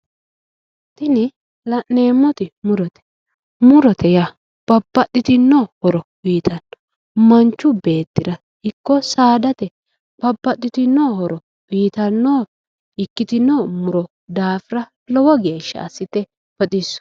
tini la'neemmoti murote murote yaa babbaxitino horo uuyiitanno machu beetira ikko saadate babbaxitinno horo uuyiitanno muro ikkitinno daafira lowo geeshasha assite baxissanno.